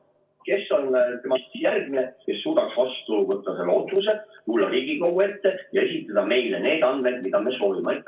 Kes on temast järgmine, kes suudaks vastu võtta selle otsuse, tulla Riigikogu ette ja esitada meile need andmed, mida me soovime?